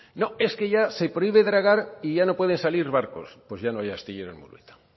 no es que ya se prohíbe dragar y ya no pueden salir barcos pues ya no hay astillero en murueta